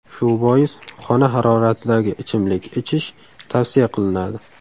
Shu bois xona haroratidagi ichimlik ichish tavsiya qilinadi.